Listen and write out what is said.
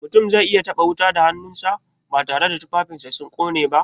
Mutum zai iya taɓa wuta da hannunsa, batare da tufafinsa sun ƙone ba?